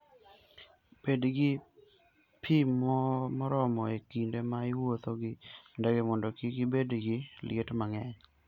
Bed gi pi moromo e kinde ma iwuotho gi ndege mondo kik ibed gi liet mang'eny.